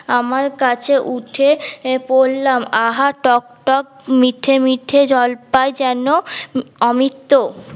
আমার কাছে উঠে পরলাম আহা টক টক মিঠে মিঠে জলপাই যেন অমিত্ত